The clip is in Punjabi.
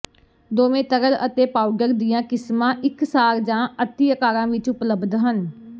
ਦੋਵੇਂ ਤਰਲ ਅਤੇ ਪਾਊਡਰ ਦੀਆਂ ਕਿਸਮਾਂ ਇਕਸਾਰ ਜਾਂ ਅਤਿ ਅਕਾਰਾਂ ਵਿਚ ਉਪਲਬਧ ਹਨ